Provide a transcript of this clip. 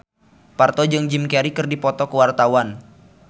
Parto jeung Jim Carey keur dipoto ku wartawan